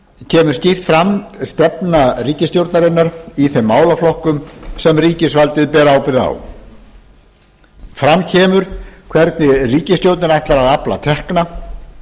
kemur skýrt fram stefna ríkisstjórnarinnar í þeim málaflokkum sem ríkisvaldið ber ábyrgð á fram kemur hvernig ríkisstjórnin ætlar að afla tekna